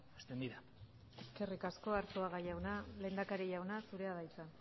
extendida eskerrik asko arzuaga jauna lehendakari jauna zurea da hitza